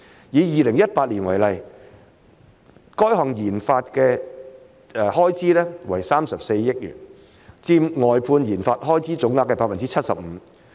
以2018年為例，該項研發的開支為34億元，佔外判研發開支總額的 75%。